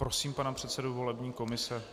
Prosím pana předsedu volební komise.